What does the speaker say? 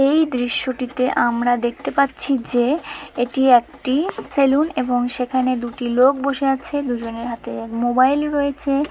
এই দৃশ্যটিতে আমরা দেখতে পাচ্ছি যে এটি একটি সেলুন | এবং সেখানে দুটি লোক বসে আছে | দুজনের হাতে মোবাইল রয়েছে।